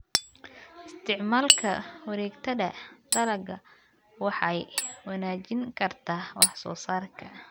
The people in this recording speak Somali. Isticmaalka wareegtada dalagga waxay wanaajin kartaa wax soo saarka.